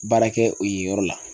Baara kɛ o yen yɔrɔ la.